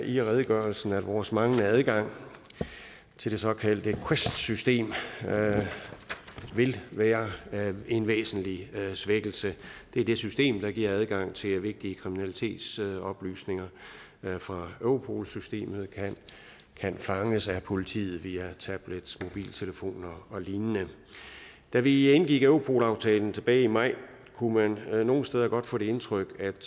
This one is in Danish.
i redegørelsen at vores manglende adgang til det såkaldte quest system vil være en væsentlig svækkelse det er det system der giver adgang til at vigtige kriminalitetsoplysninger fra europol systemet kan fanges af politiet via tablets mobiltelefoner og lignende da vi indgik europol aftalen tilbage i maj kunne man nogle steder få det indtryk at